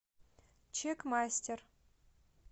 чекмастер